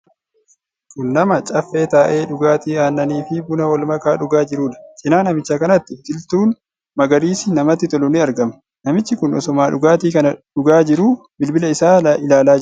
Kun nama caaffee taa'ee dhugaatii aannanii fi buna walmakaa dhugaa jiruudha. Cinaa namicha kanatti biqiltuun magariisi namatti tolu ni argama. Namichi kun osuma dhugaatii kana dhugaa jiru bilbila isaa ilaalaa jira.